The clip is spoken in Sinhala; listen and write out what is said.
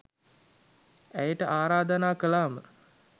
ඇයට ආරාධනා කළාම